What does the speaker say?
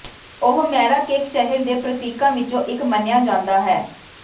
ਉਹ ਮੈਰਾਕੇਕ ਸ਼ਹਿਰ ਦੇ ਪ੍ਰਤੀਕਾਂ ਵਿੱਚੋਂ ਇੱਕ ਮੰਨਿਆ ਜਾਂਦਾ ਹੈ